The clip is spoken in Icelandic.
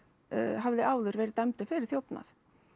hafði áður verið dæmdur fyrir þjófnað